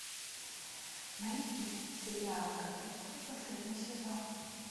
найти сериал кадетство последний сезон